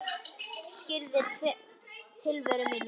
Ég syrgði tilveru mína.